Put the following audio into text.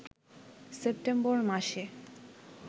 September মাসে